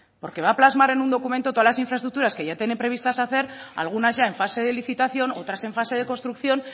porque va a plasmar en un documento todas las infraestructuras que ya tiene previstas hacer algunas ya en fase de licitación otras en fase de construcción